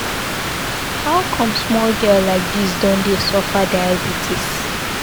How come small girl like dis don dey suffer diabetes.